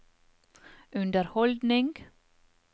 underholdning